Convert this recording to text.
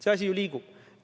See asi liigub!